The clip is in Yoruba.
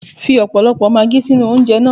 Fi ọ̀pọ̀lọpọ̀ maagí sínú oúnjẹ na.